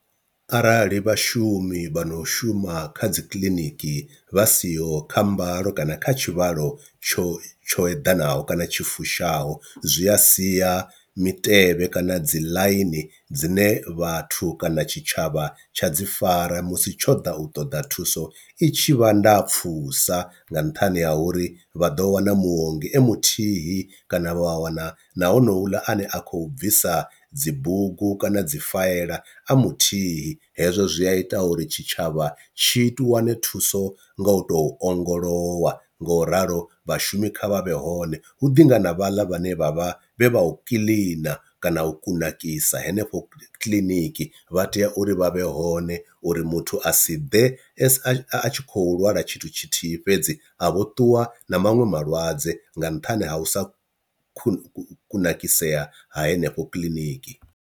Arali vhashumi vha no shuma kha dzi kiḽiniki vha siho kha mbalo kana kha tshivhalo tsho tsho eḓanaho kana tshi fushaho, zwi a sia mitevhe kana dzi ḽaini dzine vhathu kana tshitshavha tsha dzi fara musi tsho di u ṱoḓa thuso i tshivha ndapfusa nga nṱhani ha uri vha ḓo wana muongi e muthihi kana wa wana na honouḽa a ne a khou bvisa dzi bugu kana dzi faela a muthihi, hezwo zwi a ita uri tshitshavha tshi wane thuso nga u tou ongolowa nga u ralo vhashumi kha vha vhe hone, hu ḓi ngana vhaḽa vhane vha vha vhe vha u kiḽina kana u kunakisa henefho kiḽiniki vha tea uri vha vhe hone uri muthu a si ḓe s a tshi kho lwala tshithu tshithihi fhedzi a vho ṱuwa na maṅwe malwadze nga nṱhani ha u sa ku kunakisea ha henefho kiḽiniki.